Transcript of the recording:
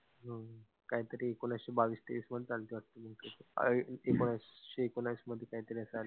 कांही तरी एकोणिशे बावीस तेवीस मध्ये झालती वाटतं ती. अं एकोणविशे एकोणवीस मध्ये काही तरी असं आलेल.